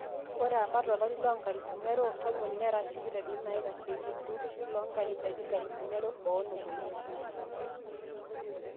ore apa tolari loonkalifuni are otomon nera sipitalini naitasheiki olturrur loo nkanisani nkalifuni are oonom oile